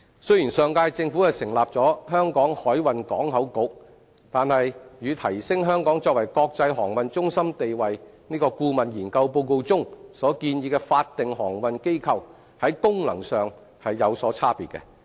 雖然上屆政府成立了香港海運港口局，但與《提升香港作為國際航運中心地位》顧問研究報告中所建議的法定航運機構，在功能上有所差別。